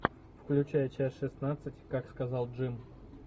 включай часть шестнадцать как сказал джим